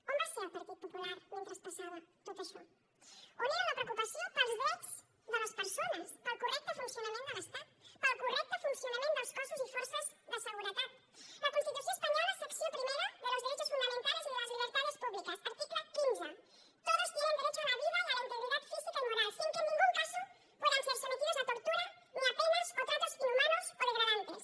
on va ser el partit popular mentre passava tot això on era la preocupació pels drets de les persones pel correcte funcionament de l’estat pel correcte funcionament dels cossos i forces de seguretat la constitució espanyola secció primera de los derechos fundamentales y de las libertades públicas article quinze todos tienen derecho a la vida y a la integridad física y moral sin que en ningún caso puedan ser sometidos a tortura ni a penas o tratos inhumanos o degradantes